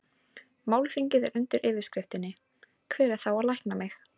Málþingið er undir yfirskriftinni Hver á þá að lækna mig?